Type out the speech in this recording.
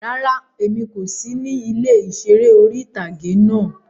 Rárá, Emi ko si ni ile iṣere ori-itage náa